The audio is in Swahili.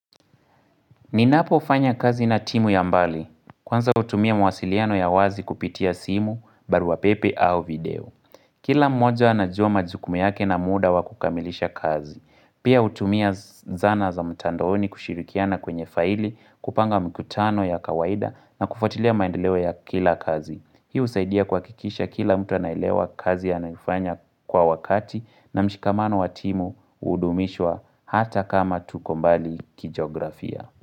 Ninapo fanya kazi na timu ya mbali. Kwanza hutumia mawasiliano ya wazi kupitia simu, barua pepe au video. Kila mmoja anajua majukumu yake na muda wa kukamilisha kazi. Pia hutumia zana za mtandoni kushirikiana kwenye faili, kupanga mkutano ya kawaida na kufuatilia maendeleo ya kila kazi. Hii husaidia kuhakikisha kila mtu anaelewa kazi anayoifanya kwa wakati na mshikamano wa timu kuhudumishwa hata kama tuko mbali kijografia.